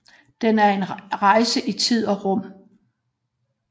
Den er en rejse i tid og rum